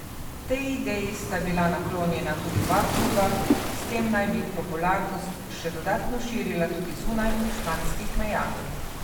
Tej ideji sta bila naklonjena tudi oba kluba, s tem naj bi popularnost še dodatno širila tudi zunaj španskih meja.